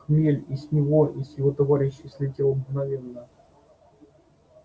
хмель и с него и с его товарищей слетел мгновенно